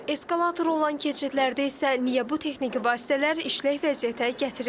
Eskalator olan keçidlərdə isə niyə bu texniki vasitələr işlək vəziyyətə gətirilmir?